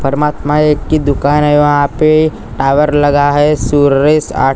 परमात्मा एक की दुकान हैं वहाँ पे टावर लगा हैं सुरेश आर्ट ।